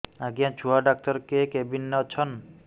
ଆଜ୍ଞା ଛୁଆ ଡାକ୍ତର କେ କେବିନ୍ ରେ ଅଛନ୍